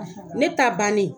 Ne ta bannen